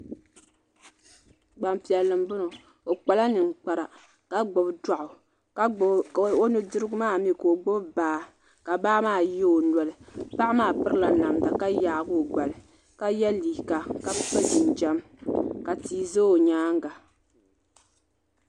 gban'piɛlli m-bɔŋɔ o kpala niŋkpara ka gbubi dɔɣu o nu'dirigu maa ni mii ka o gbubi baa ka baa ye o noli baa maa pirila namda ka yaagi o gbali ka ye liiga ka so jinjɛm ka tia ze o nyaanga